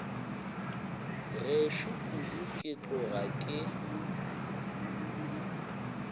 gešo kudu ke tloga ke